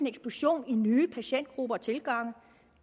eksplosion i nye patientgrupper og tilgangen